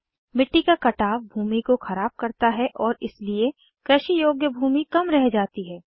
मिट्टी का कटाव भूमि को ख़राब करता है और इसलिए कृषि योग्य भूमि कम रह जाती है